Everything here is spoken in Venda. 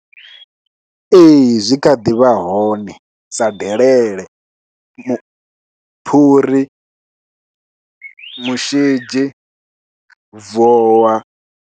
Ee zwi kha ḓi vha hone, sa delele, phuri, mushidzhi, vowa.